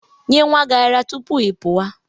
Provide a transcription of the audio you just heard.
Nyee nwa gị ara tupu ị pụwa!